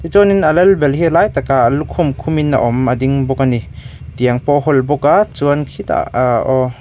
chuanin a lal ber hi a lai takah lukhum khumin a awm a ding bawk a ni tiang pawh a hawl bawk a chuan khitah aaa aww.